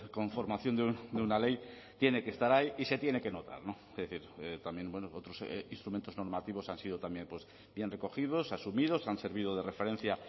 conformación de una ley tiene que estar ahí y se tiene que notar es decir también bueno otros instrumentos normativos han sido también bien recogidos asumidos han servido de referencia